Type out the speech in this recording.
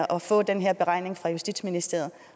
at få den her beregning fra justitsministeriet